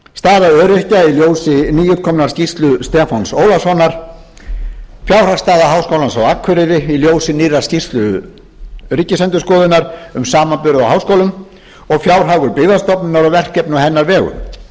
staða öryrkja í ljósi nýútkominnar skýrslu stefáns ólafssonar fjárhagsstaða háskólans á akureyri í ljósi nýrra skýrslu ríkisendurskoðunar um samanburð á háskólum og fjárhagur byggðastofnunar og verkefni á hennar vegum